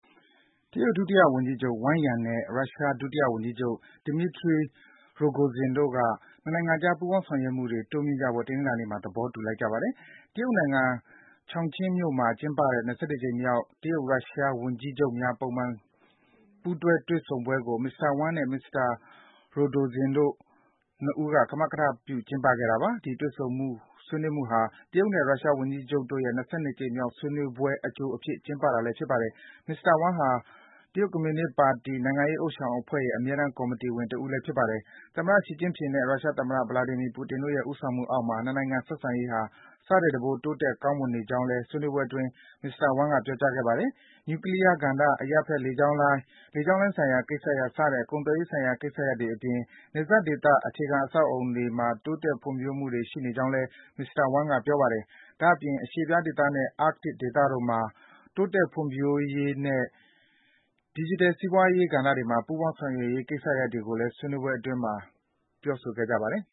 တရုတ် ဒုတိယဝန်ကြီးချုပ် Wang Yang နဲ့ ရုရှား ဒုတိယဝန်ကြီးချုပ် Dmitry Rogozin တို့က နှစ်နိုင်ငံအကြား ပူးပေါင်းဆောင်ရွက်မှုတွေ တိုးမြင့်ကြဖို့ တနင်္လာနေ့မှာ သဘောတူလိုက်ကြပါတယ်။ တရုတ်နိုင်ငံ Chongqing မြို့မှာ ကျင်းပတဲ့ ၂၁ ကြိမ်မြောက် တရုတ်-ရုရှား ဝန်ကြီးချုပ်များ ပုံမှန် ပူးတွဲ တွေ့ဆုံပွဲကို မစ္စတာ Wang နဲ့ မစ္စတာ Rogozin တို့ ၂ ဦး ကမကထပြု ကျင်းပခဲ့ကြတာပါ။ ဒီတွေ့ဆုံ ဆွေးနွေးမှုဟာ တရုတ်နဲ့ ရုရှား ဝန်ကြီးချုပ်တို့ရဲ့ ၂၂ ကြိမ်မြောက် ဆွေးနွေးပွဲ အကြိုအဖြစ် ကျင်းပတာလည်း ဖြစ်ပါတယ်။ မစ္စတာ Wang ဟာ ကွန်မြူနစ်ပါတီ နိုင်ငံရေး ဥသျှောင်အဖွဲ့ရဲ့ အမြဲတမ်း ကော်မီတီဝင် ဖြစ်ပါတယ်။ တရုတ်သမ္မတ ရှီကျင့်ဖျင်နဲ့ ရုရှားသမ္မတ Vladimir Putin တို့ရဲ့ ဦးဆောင်မှုအောက်မှာ နှစ်နိုင်ငံ ဆက်ဆံရေးဟာ ဆထက်တံပိုး တိုးတက် ကောင်းမွန်နေကြောင်းလည်း ဆွေးနွေးပွဲအတွင်း မစ္စတာ Wang က ပြောပါတယ်။ နျူကလီးယားကဏ္ဍ၊ အရပ်ဖက် လေကြောင်းလိုင်း၊ လေကြောင်းဆိုင်ရာ ကိစ္စရပ် စတဲ့ ကုန်သွယ်ရေးဆိုင်ရာ ကိစ္စရပ်တွေအပြင် နယ်စပ်ဒေသ အခြေခံအဆောက်အအုံတွေမှာ တိုးတက် ဖွံ့ဖြိုးမှုတွေ ရှိနေကြောင်းလည်း မစ္စတာ Wang က ပြောပါတယ်။ ဒါ့အပြင် အရှေ့ဖျား ဒေသနဲ့ Artic ဒေသတို့မှာ တိုးတက်ဖွံ့ဖြိုးရေးနဲ့ ဒီဂျီတယ် စီးပွားရေး ကဏ္ဍတွေမှာ ပူးပေါင်း ဆောင်ရွက်ရေး ကိစ္စရပ်တွေကိုလည်း ဆွေးနွေးခဲ့ကြပါတယ်